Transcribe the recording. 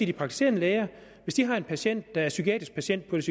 de praktiserende læger har en patient der er psykiatrisk patient på et